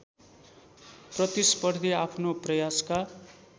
प्रतिस्पर्धी आफ्नो प्रयासका